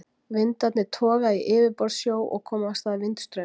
Vindarnir toga í yfirborðssjó og koma af stað vindstraumum.